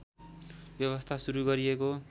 व्यवस्था सुरु गरिएको